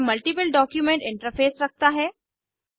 यह multiple document interface रखता है